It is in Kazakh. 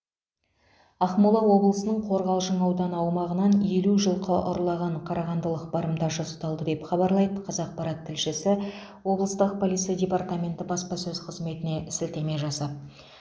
ақмола облысының қорғалжын ауданы аумағынан елу жылқы ұрлаған қарағандылық барымташы ұсталды деп хабарлайды қазақпарат тілшісі облыстық полиция департаменті баспасөз қызметіне сілтеме жасап